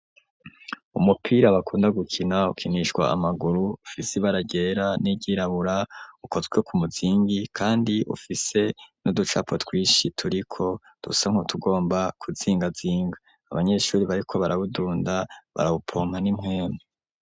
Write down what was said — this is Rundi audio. Umupira bakunda gukina ukinishwa amaguru ufisi ibara ryera n'iryirabura ukozwe nku muzingi kandi ufise n'uducapo twishi turiko dusa nku tugomba kuzingazinga abanyeshuri bariko barawudunda barawupompa n'impwenu.